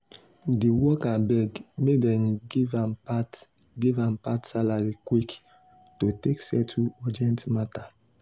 di worker beg make dem give am part give am part salary quick to take settle urgent matter.